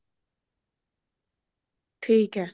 ਠੀਕ ਏ